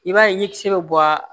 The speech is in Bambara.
I b'a ye ɲɛkisɛ bɛ bɔ a